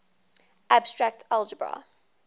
abstract algebra